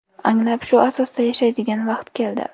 Anglab, shu asosda yashaydigan vaqt keldi.